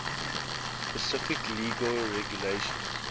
specific legal regulations